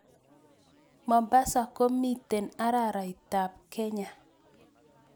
Mombasa komiten araraitap Kenya